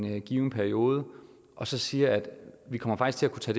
en given periode og så siger vi kommer faktisk til